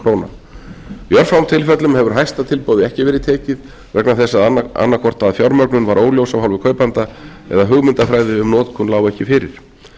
króna í örfáum tilfellum hefur hæsta tilboði ekki verið tekið vegna þess annað hvort að fjármögnun var óljós af hálfu kaupanda eða hugmyndafræði um notkun lá ekki fyrir